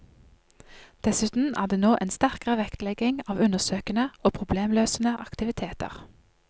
Dessuten er det nå en sterkere vektlegging av undersøkende og problemløsende aktiviteter.